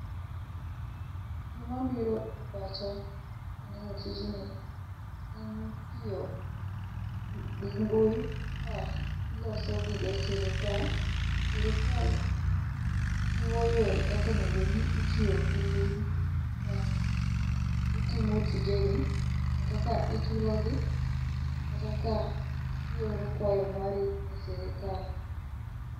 Gima biro e pacha kaneno tijni en ni tiyo gi mbui iloso gige sirikal .Sirikal chiwo yore kakonego bed ni itiyo gi mbui ka itimo tijegi kata ka ichulo gi kata ka ioro kwayo mari e sirikal.